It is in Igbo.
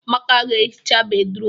Amaka ga-ehicha bédrụum.